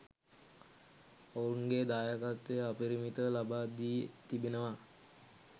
ඔවුන්ගේ දායකත්වය අපරිමිතව ලබා දී තිබෙනවා.